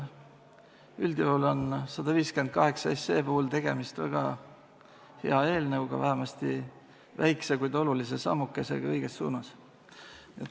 Üldjuhul on 158 puhul tegemist väga hea eelnõuga ja vähemasti väikse, kuid olulise sammukesega õiges suunas.